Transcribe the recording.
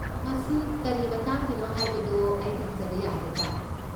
ꯃꯁꯤ ꯀꯔꯤ ꯃꯇꯥꯡꯒꯤꯅꯣ ꯍꯥꯏꯕꯗꯨ ꯑꯩ ꯈꯪꯖꯕ ꯌꯥꯒꯗ꯭ꯔꯥ?